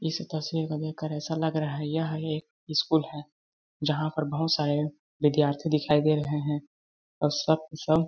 इस तस्वीर को देखकर ऐसा लग रहा है यह एक स्कूल है जहाँ पर बहुत सारे विधार्थी दिखाई दे रहे है। और सब के सब--